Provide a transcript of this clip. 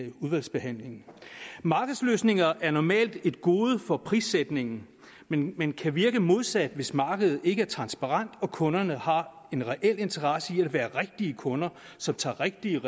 udvalgsbehandlingen markedsløsninger er normalt et gode for prissætningen men men kan virke modsat hvis markedet ikke er transparent og kunderne har en reel interesse i at være rigtige kunder som tager rigtige